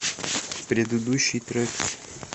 предыдущий трек